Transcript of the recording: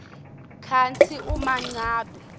kantsi uma ngabe